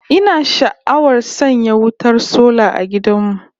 Ina sha'awar sanya wutar sola a gidan mu